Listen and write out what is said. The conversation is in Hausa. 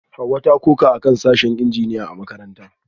Hawa ta koka akan sashen Injiniya a makarantarta